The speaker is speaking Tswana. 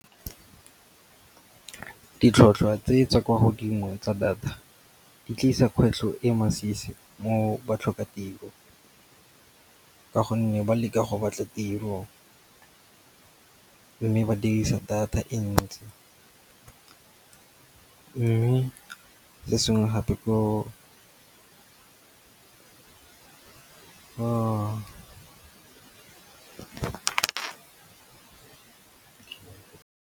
Ditlhotlhwa tse tsa kwa godimo tsa data, di tlisa kgwetlho e masisi mo batlhokatiro ka gonne ba leka go batla tiro mme ba dirisa data e ntsi. Mme se sengwe gape .